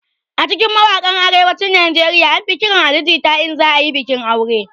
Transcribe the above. A cikin mawaƙan arewacin nigeria an fi ƙiran Ali jita in za ayi bikin aure